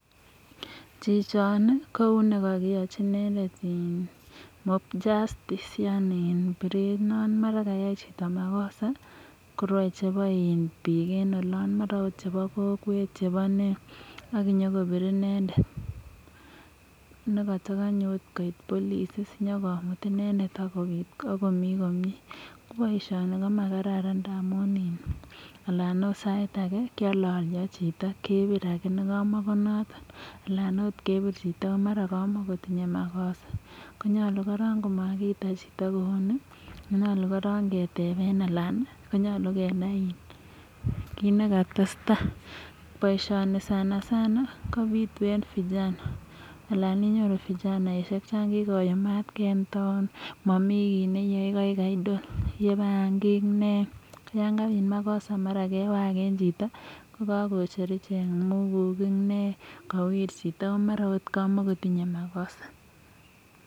chichi ko uya kkioyochi inendet audio yani kakiachi biret uya kayai makosa . korwai bik che ba ola. mara ko bik che ba kokwet ak nyo kobir inendet ne katakanye koit police nyo komut inendet . ko boishioni komakararan amu sait mara kealalya chito mara kamakoinendet anan kepir ako mara kamakotinye makosa amakiita chito kuni ko nyolu kenai kit nekatestai. boisioni sanasana kopitu eng vijana ana inyoru vijana chakikoyumatkei eng town matinyei kiy neae mara ko idle tinye bangik ak yakabit makosa kewir chito ako mara kamakotinyei makosa